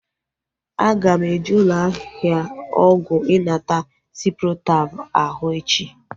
Aga m eje ụlọ ahịa ọgwụ ịnata ciprotab ahu echi